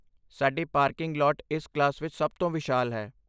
ਸਾਡੀ parking lot ਇਸ class ਵਿੱਚ ਸਭ ਤੋਂ ਵਿਸ਼ਾਲ ਹੈ।